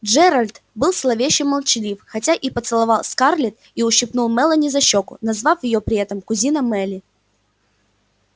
джералд был зловеще молчалив хотя и поцеловал скарлетт и ущипнул мелани за щёчку назвав её при этом кузина мелли